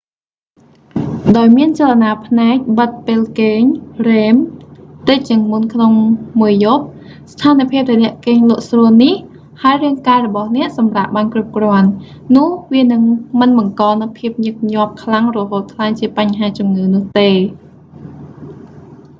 ដោយមានចលនាភ្នែកបិទពេលគេង rem តិចជាងមុនក្នុងមួយយប់ ស្ថានភាពដែលអ្នកគេងលក់ស្រួលនេះ ហើយរាងកាយរបស់អ្នកសម្រាកបានគ្រប់គ្រាន់ នោះវានឹងមិនបង្កនូវភាពញឹកញាប់ខ្លាំងរហូតក្លាយជាបញ្ហាជំងឺនោះទេ